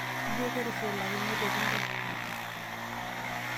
jio ketushulakinoteki intae?